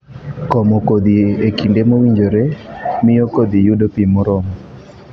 Komo kodhi e kinde mowinjore, miyo kodhi yudo pi moromo.